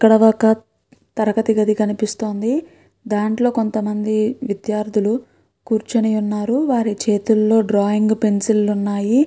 ఇక్కడ ఒక తరగతి గది కనిపిస్తోంది. దాంట్లో కొంత మంది విద్యార్ధులు కూర్చుని ఉన్నారు. వారి చేతిలో డ్రాయింగ్ పెన్సిలు ఉన్నాయి.